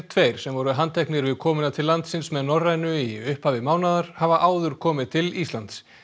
tveir sem voru handteknir við komuna til landsins með Norrænu í upphafi mánaðar hafa áður komið til Íslands